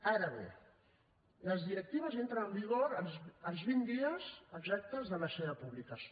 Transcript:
ara bé les directives entren en vigor als vint dies exactes de la seva publicació